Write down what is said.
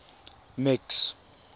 max